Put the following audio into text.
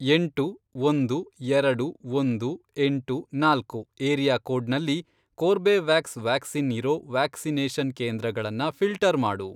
ಎಂಟು, ಒಂದು, ಎರಡು, ಒಂದು, ಎಂಟು, ನಾಲ್ಕು, ಏರಿಯಾಕೋಡ್ನಲ್ಲಿ, ಕೋರ್ಬೆವ್ಯಾಕ್ಸ್ ವ್ಯಾಕ್ಸಿನ್ ಇರೋ ವ್ಯಾಕ್ಸಿನೇಷನ್ ಕೇಂದ್ರಗಳನ್ನ ಫಿ಼ಲ್ಟರ್ ಮಾಡು.